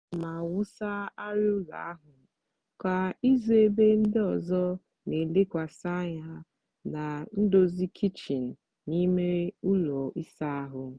ana m awụsa arịa ụlọ ahụ kwa izu ebe ndị ọzọ na-elekwasị anya na ndozi kichin na ime ụlọ ịsa ahụ.